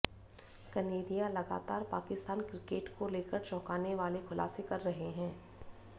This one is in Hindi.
कनेरिया लगातार पाकिस्तान क्रिकेट को लेकर चौंकाने वाले खुलासे कर रहे हैं